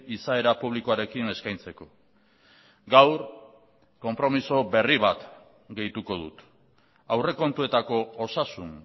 izaera publikoarekin eskaintzeko gaur konpromiso berri bat gehituko dut aurrekontuetako osasun